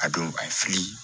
A don a ye fili